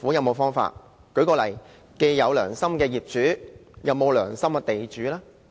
我舉例，既然有"良心業主"，那有沒有"良心地主"呢？